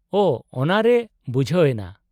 -ᱳ, ᱚᱱᱟᱨᱮ ᱵᱩᱡᱦᱟᱹᱣ ᱮᱱᱟ ᱾